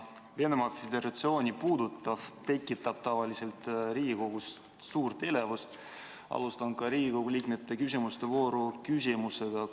Kuna Venemaa Föderatsiooni puudutav tekitab tavaliselt Riigikogus suurt elevust, alustan ka Riigikogu liikmete küsimuste vooru küsimusega.